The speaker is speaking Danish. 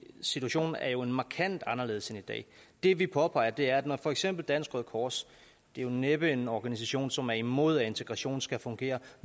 situationen er jo markant anderledes i dag det vi påpeger er at når for eksempel dansk røde kors det er jo næppe en organisation som er imod at integrationen skal fungere